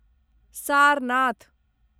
Sarnath